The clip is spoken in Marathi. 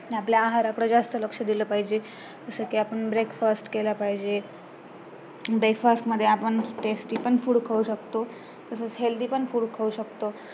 आपल्या आहाराकडे जास्त लक्ष दिलं पाहिजे जसं कि आपण breakfast केला पाहिजे, breakfast मध्ये आपण tasty पण food खाऊ शकतो तसाच healthy पण food खाऊ शकतो